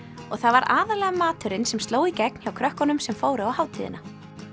og það var aðallega maturinn sem sló í gegn hjá krökkunum sem fóru á hátíðina